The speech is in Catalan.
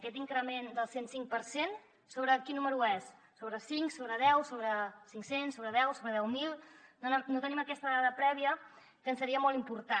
aquest increment del cent cinc per cent sobre quin número és sobre cinc sobre deu sobre cinc cents sobre deu sobre deu mil no tenim aquesta dada prèvia que seria molt important